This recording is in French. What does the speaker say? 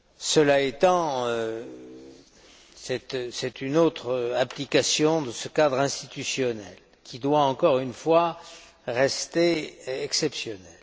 Cela étant, il s'agit d'une autre application de ce cadre institutionnel, qui doit, encore une fois, rester exceptionnelle.